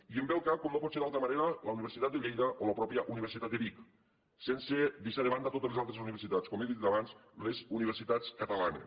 i em ve al cap com no pot ser d’altra manera la universitat de lleida o la mateixa universitat de vic sense deixar de banda totes les altres universitats com he dit abans les universitats catalanes